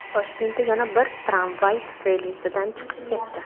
Toshkentda yana bir tramvay relsidan chiqib ketdi.